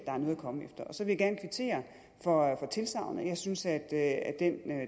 er noget at komme efter og så vil jeg gerne kvittere for tilsagnet jeg synes at den